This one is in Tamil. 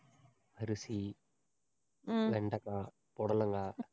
அரிசி, வெண்டக்காய், புடலங்காய்